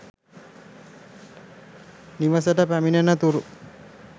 නිවෙසට පැමිණෙනතුරු